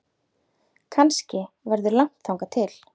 Kannski verður langt þangað til